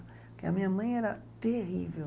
Porque a minha mãe era terrível.